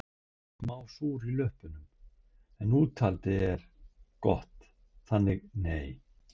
Ég er smá súr í löppum en úthaldið er gott þannig nei